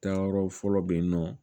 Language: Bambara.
Taayɔrɔ fɔlɔ be yen nɔ